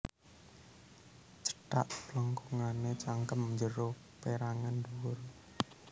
Cethak plengkungané cangkem njero pérangan ndhuwur